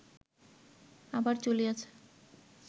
আবার চলিয়াছে